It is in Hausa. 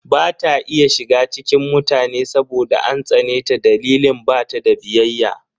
Ba ta iya shiga cikin mutane saboda an tsane ta dalilin bata da biyayya.